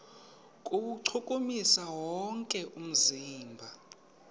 kuwuchukumisa wonke umzimba